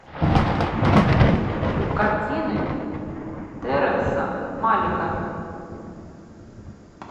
картины терренса малика